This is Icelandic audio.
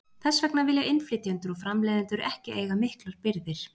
Þess vegna vilja innflytjendur og framleiðendur ekki eiga miklar birgðir.